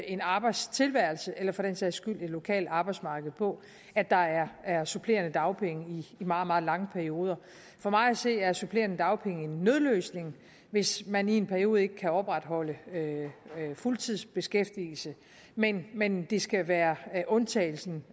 en arbejdstilværelse eller for den sags skyld et lokalt arbejdsmarked på at der er er supplerende dagpenge i meget meget lange perioder for mig at se er supplerende dagpenge en nødløsning hvis man i en periode ikke kan opretholde fuldtidsbeskæftigelse men men det skal være undtagelsen